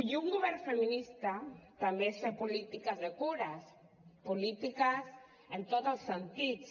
i un govern feminista també és fer polítiques de cures polítiques en tots els sentits